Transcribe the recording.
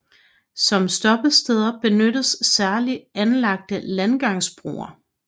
Som stoppesteder benyttes særligt anlagte landgangsbroer